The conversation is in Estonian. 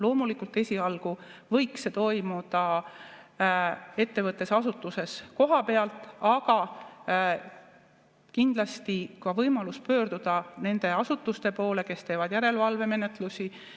Loomulikult, esialgu võiks see toimuda ettevõttes, asutuses kohapeal, aga kindlasti peab olema ka võimalus pöörduda nende asutuste poole, kes teevad järelevalvemenetlusi.